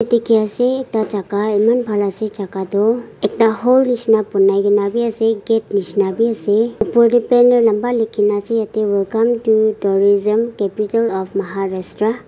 dikhi ase ekta jaga eman bhal ase jaga tu ekta hall nisna bonai ke na be ase gate nisna be ase upar teh banner lamba likhi na ase yate welcome to tourism capital of maharastra .